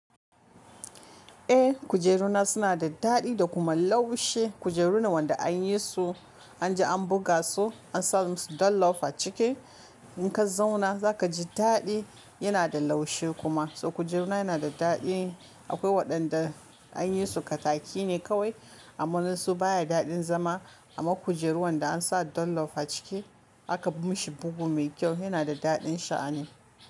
Eh kujeru na suna da daɗi da kuma laushi. Kujeru ne wanda an yi su, anje an buga su an sa musu dolof a ciki. In ka zauna za ka ji daɗi yana da laushi kuma. So kujeru na yana da daɗi akwai waɗanda an yi su kataki ne kawai amman su baya daɗin zama. Amma kujeru wanda an sa dolof a ciki aka mishi bugu mai kyau yana da daɗin sha'ani.